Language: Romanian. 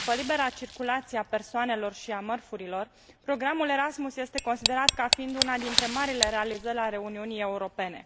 După libera circulație a persoanelor și a mărfurilor, programul Erasmus este considerat ca fiind una dintre marile realizări ale Uniunii Europene.